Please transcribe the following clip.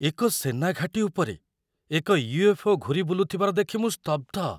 ଏକ ସେନା ଘାଟି ଉପରେ ଏକ ୟୁ.ଏଫ୍.ଓ. ଘୁରି ବୁଲୁଥିବାର ଦେଖି ମୁଁ ସ୍ତବ୍ଧ।